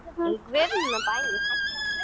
Bara það að ég.